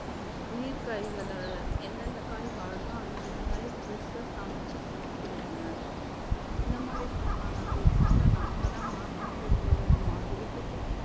நீர் காய்களை எந்தெந்த காய் வாடுதோ அந்தந்த காய fresh ஆ சமைச்சு சாப்பிடுங்க இந்த மாதிரி பண்ணா நம்ம உணவுகளை நாம தான் மாற்றம் கொண்டு வரணும் அதை விட்டுட்டு